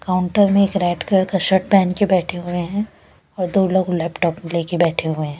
Counter में एक red colour का शर्ट पहन के बैठे हुए हैं और दो लोग लैपटॉप लेके बैठे हुए हैं।